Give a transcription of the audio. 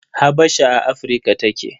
Habasha a Afirka take.